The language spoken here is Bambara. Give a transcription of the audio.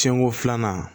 Siɲɛko filanan